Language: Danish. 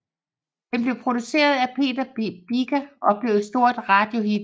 Den blev produceret af Peter Biker og blev et stort radiohit